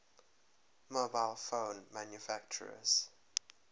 mobile phone manufacturers